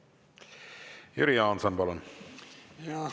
Jüri Jaanson, palun!